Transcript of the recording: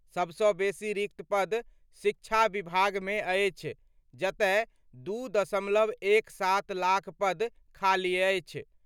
सबसं बेसी रिक्त पद शिक्षा विभाग मे अछि, जतय 2.17 लाख पद खाली अछि।